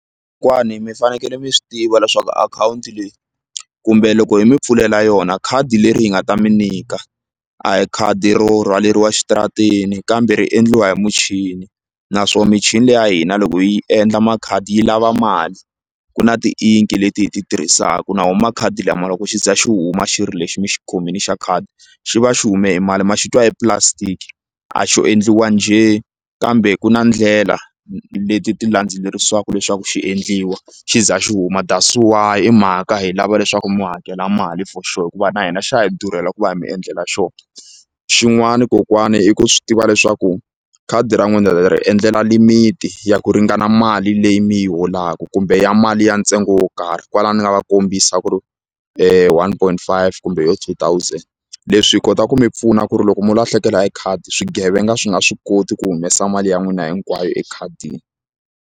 mi fanekele mi swi tiva leswaku akhawunti leyi kumbe loko hi mi pfulela yona khadi leri hi nga ta mi nyika a hi khadi ro rhwaleriwa exitarateni kambe ri endliwa hi muchini naswona michini leyi ya hina loko yi endla makhadi yi lava mali ku na tiinki leti hi ti tirhisaka na woho makhadi lama loko xi za xi huma xi lexi mi xi kumini xa khadi xi va xi hume mali ma xi twa i plastic a xo endliwa njhe kambe ku na ndlela leti ti landzelerisiwaku leswaku xi endliwa xi za xi huma that's why i mhaka hi lava leswaku mi hakela mali for sure hikuva na hina xa hi durhela ku va hi mi endlela xona xin'wani kokwana i ku swi tiva leswaku khadi ra n'wina hi ri endlela limiti ya ku ringana mali leyi mi yi holaka kumbe ya mali ya ntsengo wo karhi kwalaya va kombisa ku ri one point five kumbe yoho two thousand leswi hi kota ku mi pfuna ku ri loko mi lahlekela hi khadi swigevenga swi nga swi koti ku humesa mali ya n'wina hinkwayo ekhadini.